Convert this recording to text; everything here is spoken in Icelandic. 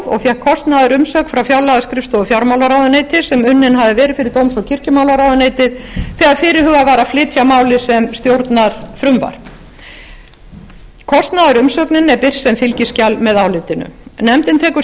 og fékk kostnaðurinn umsögn frá fjárlagaskrifstofu fjármálaráðuneytis sem unnin hafði verið fyrir dóms og kirkjumálaráðuneytið þegar fyrirhugað var að flytja málið sem stjórnarfrumvarp kostnaðarumsögnin er birt sem fylgiskjal með álitinu nefndin tekur